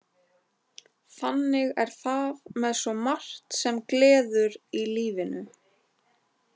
Þannig er það með svo margt sem gleður í lífinu.